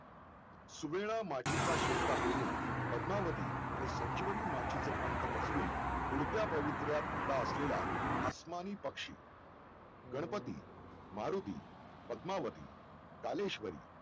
सुगळेंना मातीच्या शेत चा पेरून पद्मावती आणि संजीवनी माचीचे पंख पसरवून पुढच्या पवित्र्यात खडा असलेल्या आस्मानी पक्षी गणपती मारुती पद्मावती कालेश्वरी